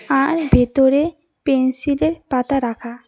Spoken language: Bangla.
আর ভেতরে পেনসিলের পাতা রাখা।